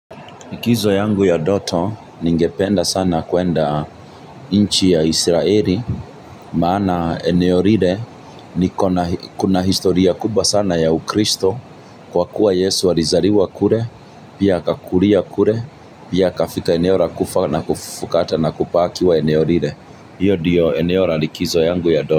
Likizo yangu ya ndoto, ningependa sana kuenda nchi ya Israeli, maana eneo lile, kuna historia kubwa sana ya ukristo, kwa kuwa Yesu alizaliwa kule, pia akakulia kule, pia akafika eneo la kufa na kufufuka hata na kubaki wa eneo lile. Hiyo ndiyo eneo la likizo yangu ya ndoto.